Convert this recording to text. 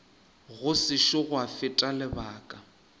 go sešo gwa feta lebaka